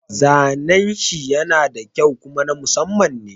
Zanen shi yana da kyau kuma na Musamman ne.